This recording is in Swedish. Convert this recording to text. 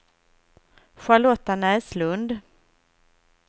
Charlotta Näslund